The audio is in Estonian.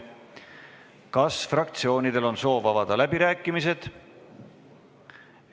Kas fraktsioonidel on soovi avada läbirääkimisi?